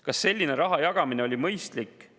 Kas selline raha jagamine oli mõistlik?